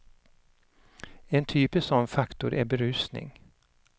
En typisk sådan faktor är berusning.